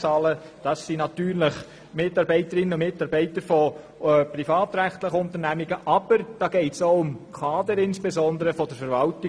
Es handelt sich dabei um Mitarbeitende privatrechtlicher Unternehmen und insbesondere auch um Kader der Verwaltung.